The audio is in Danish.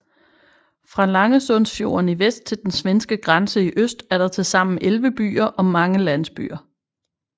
Fra Langesundsfjorden i vest til den svenske grænse i øst er der tilsammen 11 byer og mange landsbyer